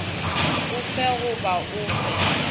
o fe goba o fe